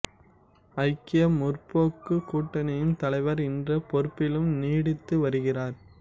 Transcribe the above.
ஐக்கிய முற்போக்குக் கூட்டணியின் தலைவர் என்ற பொறுப்பிலும் நீடித்து வருகிறார்